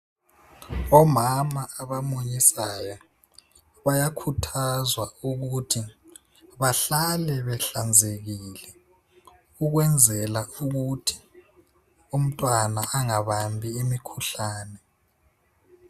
Omama abamunyisayo bayakhuthazwa ukuthi bahlale behlanzekile ukwenzela ukuthi umntwana angabambi imikhuhlane.